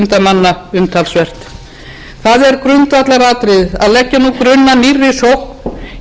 manna umtalsvert það er grundvallaratriði að leggja nú grunn að nýrri sókn í íslensku atvinnulífi og